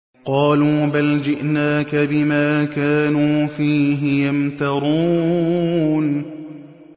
قَالُوا بَلْ جِئْنَاكَ بِمَا كَانُوا فِيهِ يَمْتَرُونَ